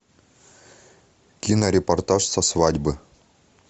кинорепортаж со свадьбы